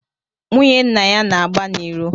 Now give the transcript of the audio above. Nwunye nna ya na-agba n’iro